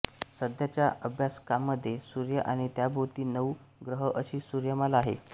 सध्याच्या अभ्यासकांमध्ये सूर्य आणि त्याभोवती नऊ ग्रह अशी सूर्यमाला आहे